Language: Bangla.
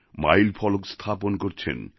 মাইল ফলক স্থাপন করছেন